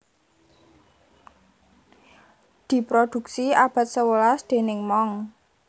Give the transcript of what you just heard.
Diproduksi abad sewelas déning monks